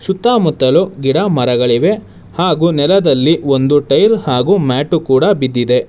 ಸುತ್ತಮುತ್ತಲು ಗಿಡ ಮರಗಳಿವೆ ಹಾಗು ನೆಲದಲ್ಲಿ ಒಂದು ಟೈರ್ ಹಾಗು ಮ್ಯಾಟು ಕೂಡ ಬಿದ್ದಿದೆ.